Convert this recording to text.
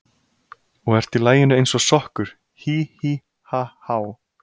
Og ert í laginu eins og sokkur, hí, hí, ha, há.